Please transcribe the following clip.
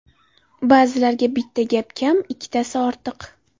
Ba’zilarga bitta gap kam, ikkitasi ortiq.